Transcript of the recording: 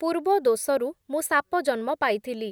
ପୂର୍ବ ଦୋଷରୁ ମୁଁ ସାପଜନ୍ମ ପାଇଥିଲି ।